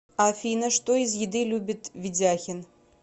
афина что из еды любит ведяхин